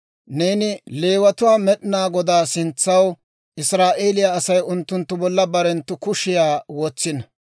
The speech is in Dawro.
Neeni Leewatuwaa Med'inaa Godaa sintsa ahina, Israa'eeliyaa Asay unttunttu bolla barenttu kushiyaa wotsino.